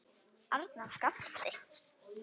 Arnar gapti.